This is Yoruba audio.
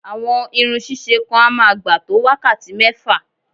Àwọn irun ṣíṣe kan á máa gbà tó wákàtí mẹ́fà